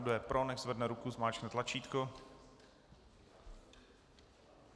Kdo je pro, nechť zvedne ruku, zmáčkne tlačítko.